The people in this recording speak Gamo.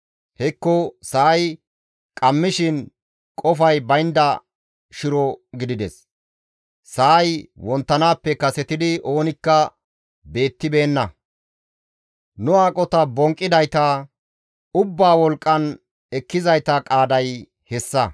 Hekko Sa7ay qammishin qofay baynda shiro gidides; sa7ay wonttanaappe kasetidi oonikka beettibeenna. Nu aqota bonqqidayta, ubbaa wolqqan ekkizayta qaaday hessa.